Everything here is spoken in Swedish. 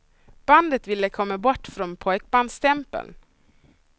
Bandet vill komma bort från pojkbandsstämpeln.